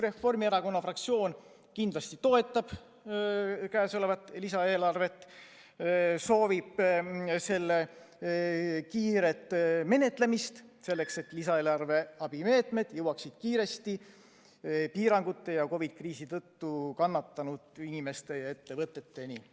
Reformierakonna fraktsioon kindlasti toetab käesolevat lisaeelarvet, soovib selle kiiret menetlemist, selleks et lisaeelarve abimeetmed jõuaksid kiiresti piirangute ja COVID-i kriisi tõttu kannatanud inimeste ja ettevõteteni.